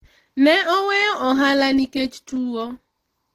ne oweyo ohala nikech tuwo